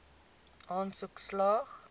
aansoek slaag